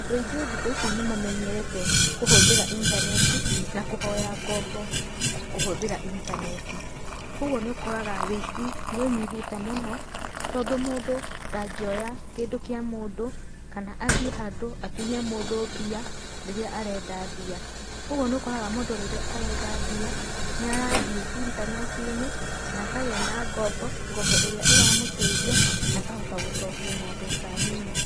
Andũ aingĩ thikũ ici nĩ mamenyerete kũhũthĩra intaneti na kũhoya ngombo kũhũthĩra intaneti koguo nĩ ukoraga ũici nĩ ũnyihĩte mũno tondũ mũndũ ndangĩoya kĩndũ kĩa mũndũ kana athiĩ handũ atunye mũndũ mbia rĩrĩa arenda mbia. Ũguo nĩ ũkoraga mũndũ rĩrĩa arenda mbia, nĩ arathiĩ intaneti-inĩ na akagĩa na ngombo, ngombo ĩrĩa ĩramũteithia na akahota gũcokia na mbeca nini.